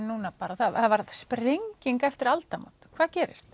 núna það varð sprenging eftir aldamót hvað gerist